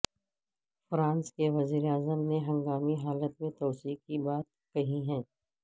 France کے وزیر اعظم نے ہنگامی حالت میں توسیع کی بات کہی ہے